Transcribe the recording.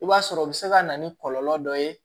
I b'a sɔrɔ o be se ka na ni kɔlɔlɔ dɔ ye